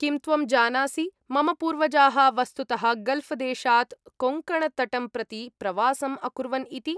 किं त्वं जानासि, मम पूर्वजाः वस्तुतः गल्फ़् देशात् कोङ्कणतटं प्रति प्रवासम् अकुर्वन् इति?